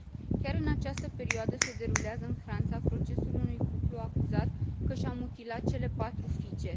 Chiar în această perioadă se derulează în Franța procesul unui cuplu acuzat că și a mutilat cele patru fiice.